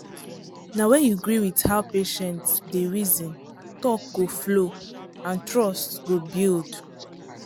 na when you gree with how patient dey reason talk go flow and trust go build.